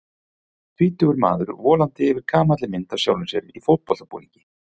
Tvítugur maðurinn volandi yfir gamalli mynd af sjálfum sér í fótboltabúningi.